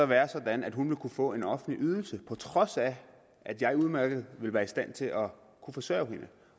være sådan at hun ville kunne få en offentlig ydelse på trods af at jeg udmærket ville være i stand til at kunne forsørge hende